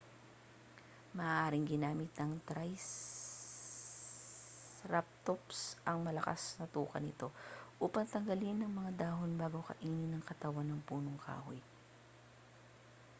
maaaring ginamit ng triceratops ang malakas na tuka nito upang tanggalin ang mga dahon bago kainin ang katawan ng punong kahoy